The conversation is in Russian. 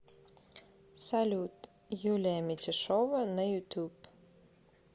салют юлия митяшова на ютуб